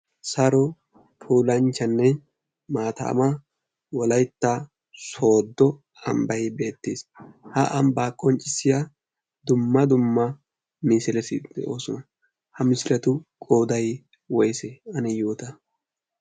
saaro pulanchchanne maataama wolaytta soodo ambbay beettiis haamibaa qonccissiya dumma dumma misilasiidde oosona ha mishiratu goday woyse ane yoota